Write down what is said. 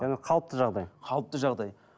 яғни қалыпты жағдай қалыпты жағдай